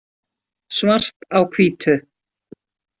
Svart á hvítu.